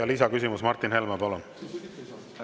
Lisaküsimus, Martin Helme, palun!